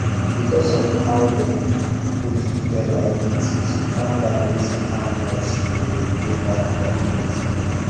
because of how them put together everything she calm down reason how much she go dey pay back per month